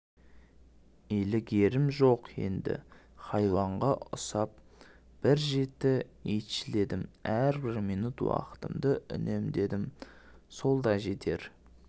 илігерім жоқ енді хайуанға ұсап бір жеті итшіледім әрбір минут уақытымды үнемдедім сол да жетер